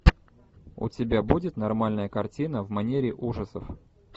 у тебя будет нормальная картина в манере ужасов